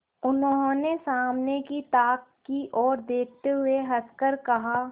उन्होंने सामने की ताक की ओर देखते हुए हंसकर कहा